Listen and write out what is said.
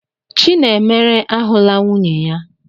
Chinemere ahụla nwunye ya?